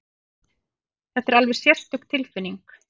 Þetta er alveg sérstök tilfinning!